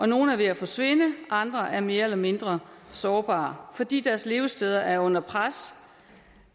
nogle er ved at forsvinde og andre er mere eller mindre sårbare fordi deres levesteder er under pres